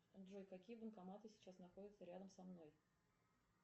джой какие банкоматы сейчас находятся рядом со мной